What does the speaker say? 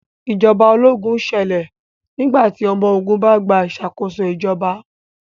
Ìjọba ológun ṣẹlẹ̀ nígbà tí ọmọ ogun bá gba ìṣàkóso ìjọba